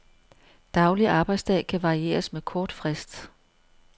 Daglig arbejdsdag kan varieres med kort frist.